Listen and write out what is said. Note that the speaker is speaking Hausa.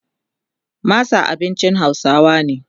masa abincin hausawa ne